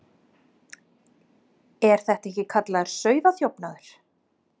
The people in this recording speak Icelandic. Er þetta ekki kallað sauðaþjófnaður?